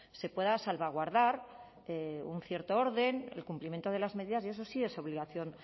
se pueda salvaguardar un cierto orden el cumplimiento de las medidas y eso sí es obligación